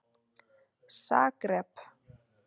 Zagreb